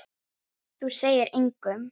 Þú segir engum.